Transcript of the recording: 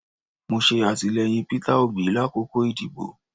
Mo ṣe atilẹyin Peter Obi lakoko idibo